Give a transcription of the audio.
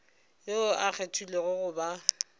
yoo a kgethilwego go ba